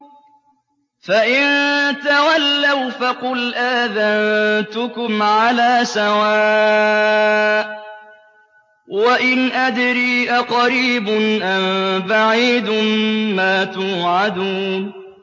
فَإِن تَوَلَّوْا فَقُلْ آذَنتُكُمْ عَلَىٰ سَوَاءٍ ۖ وَإِنْ أَدْرِي أَقَرِيبٌ أَم بَعِيدٌ مَّا تُوعَدُونَ